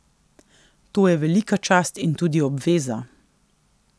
To je velika čast in tudi obveza.